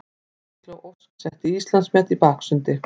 Eygló Ósk setti Íslandsmet í baksundi